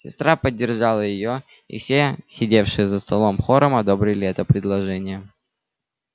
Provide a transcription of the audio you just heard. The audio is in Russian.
сестра поддержала её и все сидевшие за столом хором одобрили это предложение